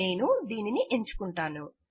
నేను దీనిని ఎంచుకుంటాను